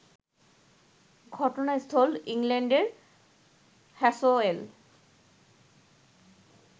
ঘটনাস্থল ইংল্যান্ডের হ্যাসোয়েল